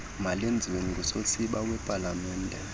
malwenziwe ngusosiba wepalamente